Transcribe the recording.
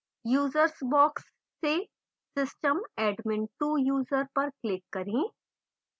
users box से system admin2 user पर click करें